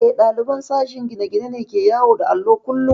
Eh, ɗaliban sashen gine-gine ne ke yawo da allo kullum